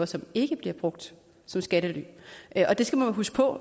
som ikke bliver brugt som skattely og det skal man huske på